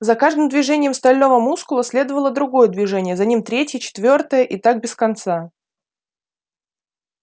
за каждым движением стального мускула следовало другое движение за ним третье четвёртое и так без конца